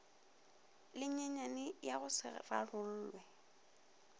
lenyenyane ya go se rarolle